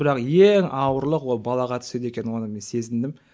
бірақ ең ауырлық ол балаға түседі екен оны мен сезіндім